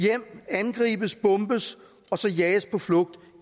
hjem angribes bombes jages på flugt